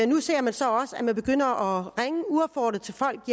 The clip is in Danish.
nu ses det så også at man begynder at ringe uopfordret til folk